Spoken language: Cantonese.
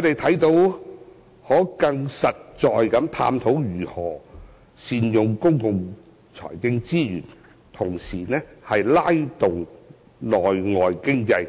們可以更實在地探討如何善用公共財政資源，並同時拉動內外經濟，